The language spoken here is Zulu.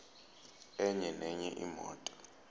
enye nenye imoto